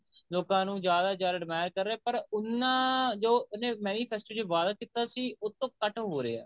ਲੋਕਾਂ ਨੂੰ ਜਿਆਦਾ admire ਕਰ ਰਿਹਾ ਪਰ ਉਹਨਾ ਜੋ ਉਹਨੇ manifested ਵਾਦਾ ਕੀਤਾ ਸੀ ਉਹ ਤੋਂ ਕੱਟ ਹੋ ਰਿਹਾ